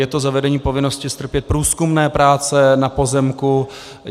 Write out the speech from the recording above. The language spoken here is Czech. Je to zavedení povinnosti strpět průzkumné práce na pozemku.